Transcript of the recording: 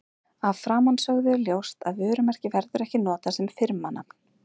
Af framansögðu er ljóst að vörumerki verður ekki notað sem firmanafn.